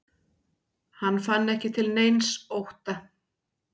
Hann fann ekki til neins ótta.